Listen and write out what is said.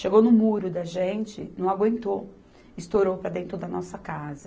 Chegou no muro da gente, não aguentou, estourou para dentro da nossa casa.